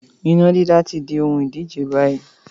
Iná dídá tí di ohun ìdíje báyìí